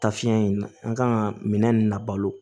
Ta fiɲɛ in na an kan ka minɛn ninnu labalo